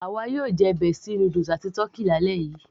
àwa yóò jẹ bestie noodles àti tọ́kì